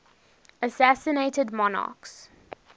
assassinated monarchs